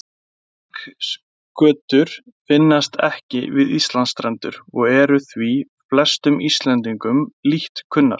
Stingskötur finnast ekki við Íslandsstrendur og eru því flestum Íslendingum lítt kunnar.